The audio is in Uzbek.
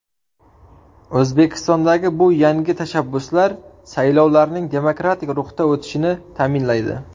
O‘zbekistondagi bu yangi tashabbuslar saylovlarning demokratik ruhda o‘tishini ta’minlaydi”.